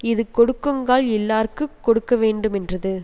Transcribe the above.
இது கொடுக்குங்கால் இல்லார்க்குக் கொடுக்கவேண்டுமென்றது